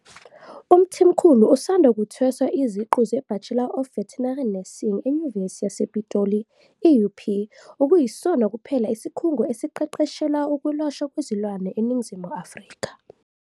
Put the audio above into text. UMthimkhulu usanda kuthweswa iziqu zeBachelor of Veternary Nursing eNyuvesi yasePitoli, i-UP, okuyisona kuphela isikhungo esiqeqeshela ukwelashwa kwezilwane eNingizimu Afrika.